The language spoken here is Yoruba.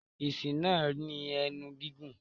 Asín náà ní ẹnu gígùn.